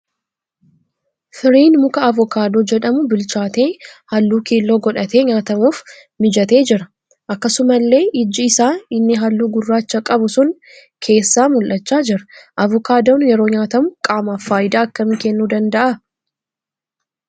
Firiin muka avokaadoo jedhamuu bilchaatee halluu keelloo godhatee nyaatamuuf mijatee jira. Akkasumallee iji isaa inni halluu gurraacha qabu sun keessaa mul'achaa jira. Avokaadoon yeroo nyaatamu qaamaaf faayidaa akkamii kennuu danda'aa?